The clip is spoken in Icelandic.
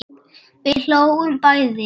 Við hlógum bæði.